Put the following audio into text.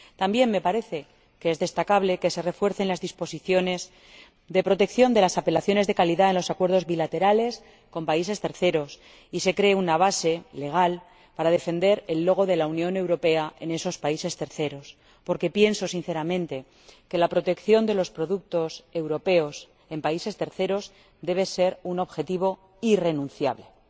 También me parece que es destacable que se refuercen las disposiciones de protección de las apelaciones de calidad en los acuerdos bilaterales con terceros países y se cree una base legal para defender el logotipo de la Unión Europea en esos terceros países, porque pienso sinceramente que la protección de los productos europeos en terceros países debe ser un objetivo irrenunciable. Es una